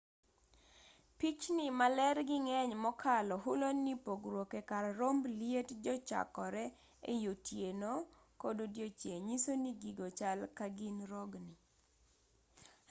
pichni ma lergi ng'eny mokalo hulo ni pogruok e kar romb liet kochakore ei otieno kod odiechieng' nyiso ni gigo chal ka gin rogni